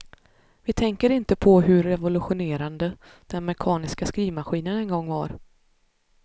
Vi tänker inte på hur revolutionerande den mekaniska skrivmaskinen en gång var.